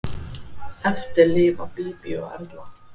Eftir lifa Bíbí og Erla.